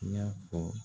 I y'a fɔ